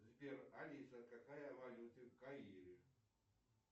сбер алиса какая валюта в каире